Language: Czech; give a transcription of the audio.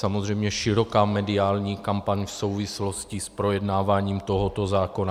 Samozřejmě široká mediální kampaň v souvislosti s projednáváním tohoto zákona.